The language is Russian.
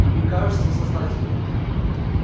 и мне кажется сознательно